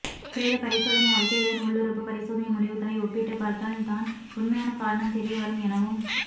பிரேத பரிசோதனை அறிக்கையுடன் உள்ளுறுப்பு பரிசோதனை முடிவுகளை ஒப்பிட்டு பார்த்தால் தான் உண்மையான காரணம் தெரிய வரும் எனவும்